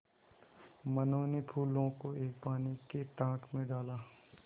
मनु ने फूलों को एक पानी के टांक मे डाला